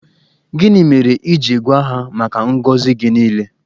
Gịnị mere i ji gwa ha maka ngọzị gị niile?